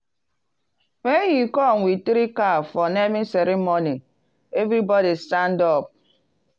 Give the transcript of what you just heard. when he come with three cow for naming ceremony everybody stand up.